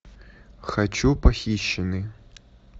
хочу похищенный